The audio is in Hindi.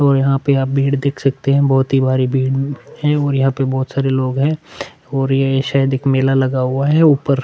और यहाँ पे आप भीड़ देख सकते है बहोत ही भारी भीड़ है और यहाँ पे बहोत सारे लोग है और ये शायद एक मेला लगा हुआ है ऊपर--